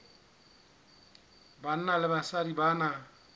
banna le basadi ba na